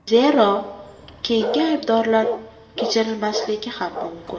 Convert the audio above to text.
Zero, keyingi aybdorlar kechirilmasligi ham mumkin.